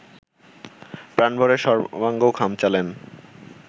প্রাণভরে সর্বাঙ্গ খামচালেন